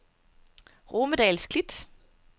Romedahls Klit